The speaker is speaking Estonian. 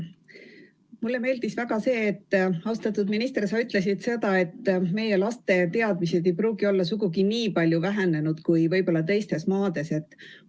Mulle meeldis väga see, austatud minister, et sa ütlesid, et meie laste teadmised ei pruugi olla sugugi nii palju halvenenud kui võib-olla teistes maades.